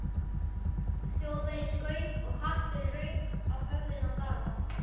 Þjóðverjinn skaut og hatturinn rauk af höfðinu á Daða.